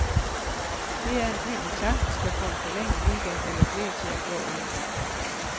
Det er en by, man sagtens kan få en forlænget weekend eller flere til at gå i.